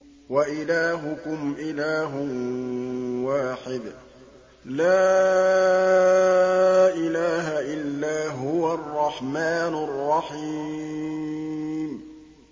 وَإِلَٰهُكُمْ إِلَٰهٌ وَاحِدٌ ۖ لَّا إِلَٰهَ إِلَّا هُوَ الرَّحْمَٰنُ الرَّحِيمُ